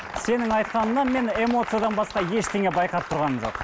сенің айтқаныңнан мен эмоциядан басқа ештеңе де байқап тұрғаным жоқ